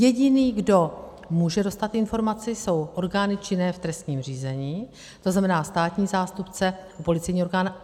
Jediný, kdo může dostat informaci, jsou orgány činné v trestním řízení, to znamená státní zástupce, policejní orgán.